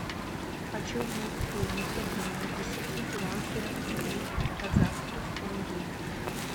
хочу узнать стоимость обмена десяти перуанских солей в казахских тенге